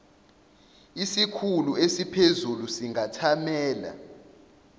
isikhulu esiphezulu singathamela